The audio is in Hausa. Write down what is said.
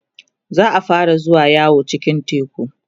za'a fara zuwa yawo cikin teku